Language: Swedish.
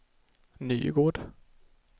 Nygård